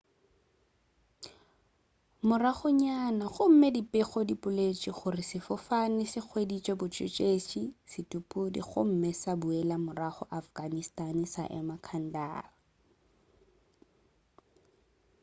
moragonyana gomme dipego di boletše gore sefofane se hweditše botšhošetši bja sethuthupi gomme sa boela morago afghanistan sa ema kandahar